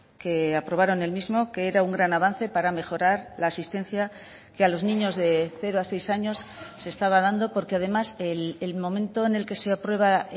que aprobaron el mismo que era un gran avance para mejorar la asistencia que a los niños de cero a seis años se estaba dando porque además el momento en el que se aprueba